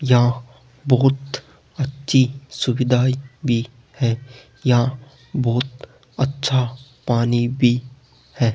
यहां बहुत अच्छी सुविधाये भी है यहां बहुत अच्छा पानी भी है।